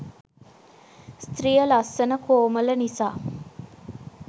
ස්ත්‍රිය ලස්සන කෝමළ නිසා